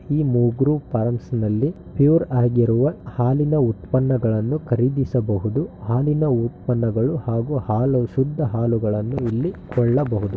ಈ ಮಗೃ ಪಾರ್ಮ್ನಲ್ಲಿ ಪ್ಯೂರ್ ಆಗಿರುವ ಹಾಲಿನ ಉತ್ಪನ್ನಗಳನ್ನು ಕರಿದಿಸಬಹುದು. ಹಾಲಿನ ಉತ್ಪನ್ನಗಳು ಹಾಗೂ ಹಾಲು ಶುದ್ಧ ಹಾಲಗಳನ್ನು ಇಲ್ಲಿ ಕೊಳ್ಳಬಹುದು.